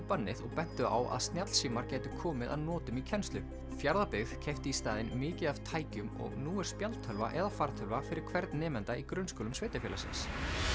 bannið og bentu á að snjallsímar gætu komið að notum í kennslu Fjarðabyggð keypti í staðinn mikið af tækjum og nú er spjaldtölva eða fartölva fyrir hvern nemanda í grunnskólum sveitarfélagsins